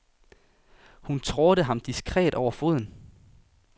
Hun trådte ham diskret over foden.